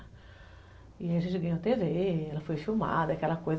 E a gente ganhou te vê, ela foi filmada, aquela coisa.